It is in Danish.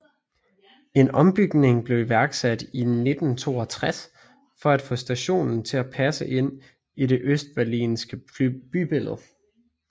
En ombygning blev iværksat i 1962 for at få stationen til at passe ind i det østberlinske bybillede